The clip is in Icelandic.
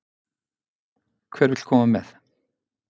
Hver vill koma með?